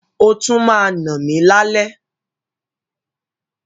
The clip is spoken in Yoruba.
O tún ma nà mi lálẹ́.